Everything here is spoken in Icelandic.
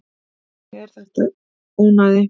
Þannig að þetta er ónæði.